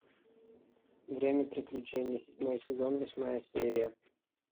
время приключений седьмой сезон восьмая серия